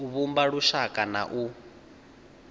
u vhumba lushaka na u